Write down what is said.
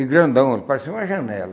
E grandão, parecia uma janela.